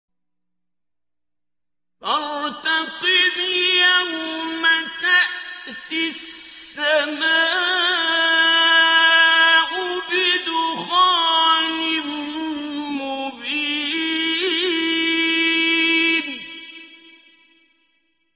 فَارْتَقِبْ يَوْمَ تَأْتِي السَّمَاءُ بِدُخَانٍ مُّبِينٍ